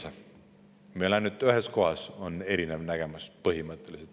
Meil on põhimõtteliselt ainult ühes kohas on erinev nägemus.